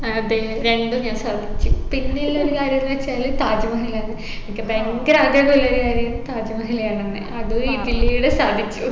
അതെ രണ്ടും ഞാൻ സാധിച്ചു പിന്നില്ലൊരു കാര്യംന്ന് വെച്ചാല് താജ്മഹലാണ് എനിക്ക് ഭയങ്കര ആഗ്രഹമുള്ളൊരു കാര്യാണ് താജ്മഹൽ കാണണംന്ന് അതും ഇതിലൂടെ സാധിച്ചു